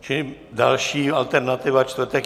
Čili další alternativa - čtvrtek.